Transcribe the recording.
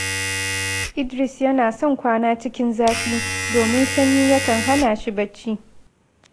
Idris yana son kwana cikin zafi, domin sanyi yakan hana shi barci